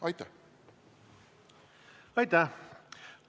Aitäh!